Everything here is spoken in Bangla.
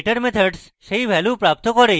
getter methods সেই ভ্যালু প্রাপ্ত করে